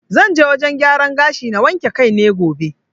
Zan je wajen gyaran gashi na wanke kai ne gobe.